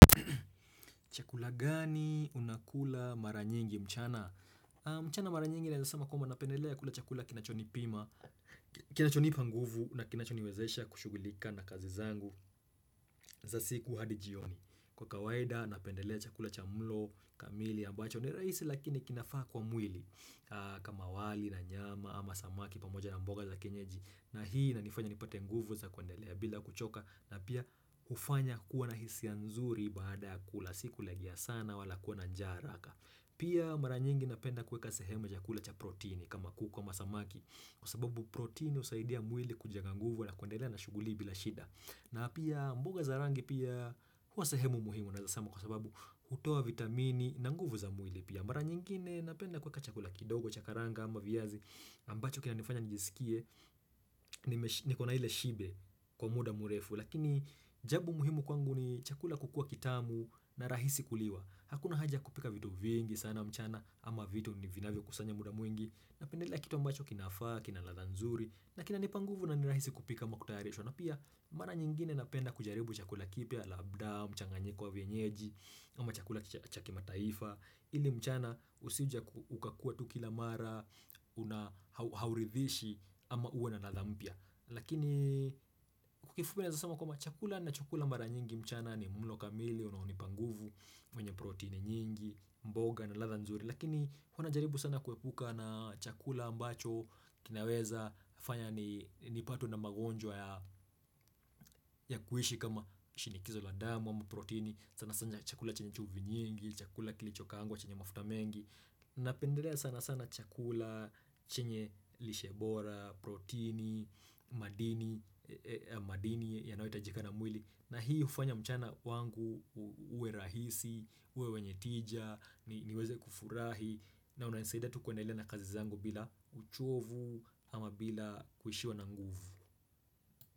Chakula gani unakula mara nyingi mchana? Mchana mara nyingi naweza sema kuma napendelea kula chakula kinachoni pima, kinachoni panguvu na kinachoni wezesha kushughulika na kazi zangu za siku hadijioni. Kwa kawaida napendelea chakula cha mlo kamili ambacho ni rahisi lakini kinafaa kwa mwili kama wali na nyama ama samaki pamoja na mboga za kenyeji. Na hii na inifanya nipate nguvu za kundelea bila kuchoka na pia hufanya kuwa na hisia nzuri baada ya kula si kulegea sana wala kuwa na njaa haraka pia mara nyingi napenda kuweka sehemu chakula cha proteini kama kuku kama samaki kwa sababu proteini husaidia mwili kujenga nguvu na kundelea na shughuli bila shida na pia mboga za rangi pia hua sehemu muhimu naweza sema kwa sababu hutoa vitamini na nguvu za mwili pia mara nyingine napenda kuweka chakula kidogo cha karanga ama viazi ambacho kina nifanya nijisikie ni kona ile shibe kwa muda mrefu lakini jambo muhimu kwangu ni chakula kukua kitamu na rahisi kuliwa hakuna haja kupika vitu vingi sana mchana ama vitu ni vina vyo kusanya muda mwingi na pendelea kitu ambacho kinafaa kina ladha nzuri na kina nipanguvu na nirahisi kupika ama kutayarishwa na pia mara nyingine napenda kujaribu chakula kipya labda, mchanganyiko wa vienyeji ama chakula chakima taifa ili mchana usijuje ukakuwa tukila mara unahauridhishi ama uwe na na ladha mpya lakini kwa kifupi nawe zasama kwamba chakula nachokula mara nyingi mchana ni mlo kamili, unahoni panguvu, mwenye protein nyingi, mboga na ladha nzuri lakini kuna jaribu sana kuepuka na chakula ambacho kinaweza fanya nipatwe na magonjwa ya kuishi kama shinikizo la damu ama protein sana sana chakula chenye chumvi nyingi, chakula kilichokaangwa chenye mafuta mengi Napendelea sana sana chakula, chenye lishebora, protini, madini, madini yanayohita jika na mwili na hii hufanya mchana kwangu uwe rahisi, uwe wenye tija, niweze kufurahi na unanisaidia tu kuendelea na kazi zangu bila uchovu ama bila kuhishiwa na nguvu.